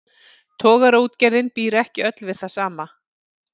Togaraútgerðin býr ekki öll við það sama.